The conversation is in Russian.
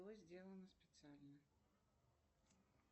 что сделано специально